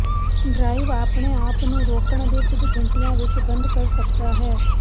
drive ਆਪਣੇ ਆਪ ਨੂੰ ਰੋਕਣ ਦੇ ਕੁਝ ਘੰਟਿਆਂ ਵਿੱਚ ਬੰਦ ਕਰ ਸਕਦਾ ਹੈ